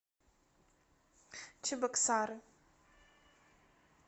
чебоксары